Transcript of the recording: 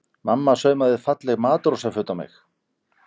Mamma saumaði falleg matrósaföt á mig.